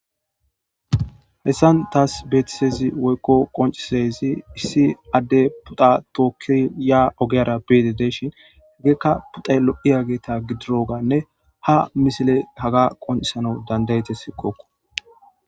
Hessan taas beetisezi woykko qoncisezi issi adde puta tookkiya ogeyara beete de shin heggeekka puxay lo'iyageeta gidiroganne ha misile haga qoncisanau dandayete sikookko.